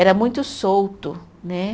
Era muito solto né.